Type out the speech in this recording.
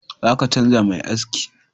Zaka canja mai aski